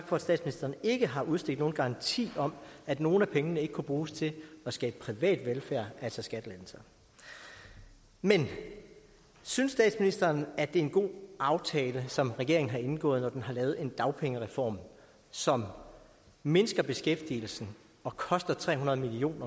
for at statsministeren ikke har udstedt nogen garanti om at nogle af pengene ikke kunne bruges til at skabe privat velfærd altså skattelettelser men synes statsministeren at det er en god aftale som regeringen har indgået når den har lavet en dagpengereform som mindsker beskæftigelsen og koster tre hundrede million